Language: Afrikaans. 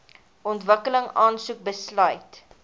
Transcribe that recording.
ontwikkeling aansoek besluit